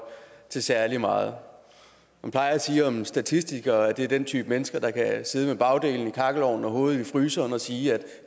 til særlig meget man plejer at sige om statistikere at det er den type mennesker der kan sidde med bagdelen i kakkelovnen og hovedet i fryseren og sige at